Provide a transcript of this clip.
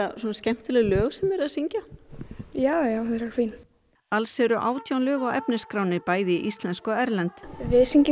svona skemmtileg lög sem þið eruð að syngja já já þau eru fín alls eru átján lög á efnisskránni bæði íslensk og erlend við syngjum